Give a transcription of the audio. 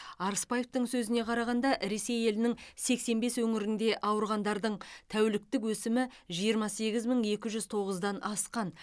арыспаевтың сөзіне қарағанда ресей елінің сексен бес өңірінде ауырғандардың тәуліктік өсімі жиырма сегіз мың екі жүз тоғыздан асқан